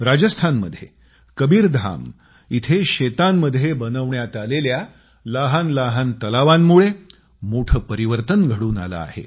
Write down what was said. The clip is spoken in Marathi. राजस्थानमध्ये कबीरधाम इथं शेतांमध्ये बनवण्यात आलेल्या लहान लहान तलावांमुळे मोठे परिवर्तन घडून आले आहे